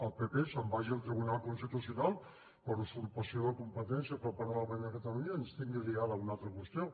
el pp se’n vagi al tribunal constitucional per usurpació de la competència per part del parlament de catalunya i ens tingui liada una altra qüestió